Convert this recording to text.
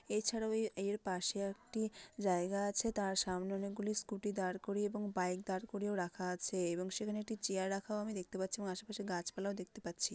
এছাড়াও এ এর পাশে একটি জায়গা আছে তার সামনে অনেক গুলি স্কুটি দাঁড় করিয়ে এবং বাইক দাঁড় করিয়েও রাখা আছে এবং সেখানে একটি চেয়ার রাখাও আমি দেখতে পাচ্ছি এবং আসে পাশে গাছ পালাও দেখতে পাচ্ছি।